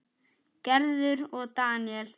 Gerður og Daníel.